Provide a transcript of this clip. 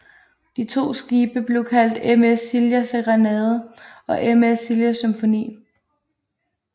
De to skibe blev kaldt MS Silja Serenade og MS Silja Symphony